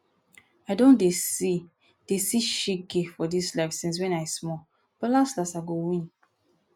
i don dey see dey see shege for dis life since wen i small but las las i go win